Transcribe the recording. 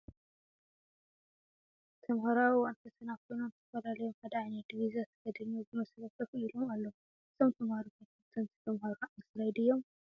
ተማሃሮ አብ እዋን ፈተና ኮይኖም ተፈላልዮም ሓደ ዓይነት ዲቭዛ ተከዲኖም ብመስርዕ ኮፍ ኢሎም ኣለው። እዞም ተመሃሮ ተፈተንቲ ተማሃሮ 10ይ ዲዮም ?